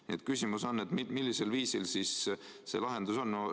Nii et küsimus on: millisel viisil see lahendus tuleb?